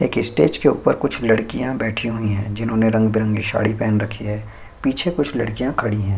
एक स्टेज के ऊपर कुछ लड़किया बैठी हुई है जिन्होंने रंग-बिररंगे सारी पहन रखी है पीछे कुछ लड़किया खड़ी है।